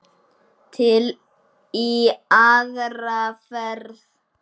Til í aðra ferð.